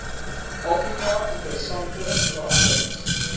afrika interessante veranderings